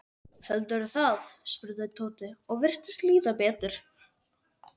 Heldurðu það? spurði Tóti og virtist líða betur.